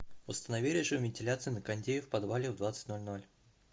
установи режим вентиляции на кондее в подвале в двадцать ноль ноль